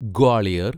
Gwalior